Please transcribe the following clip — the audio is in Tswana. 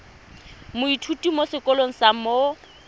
moithuti mo sekolong sa mo